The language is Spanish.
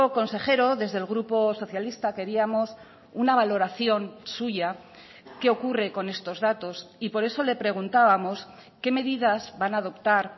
consejero desde el grupo socialista queríamos una valoración suya qué ocurre con estos datos y por eso le preguntábamos qué medidas van a adoptar